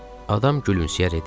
Adam gülümsəyərək dedi.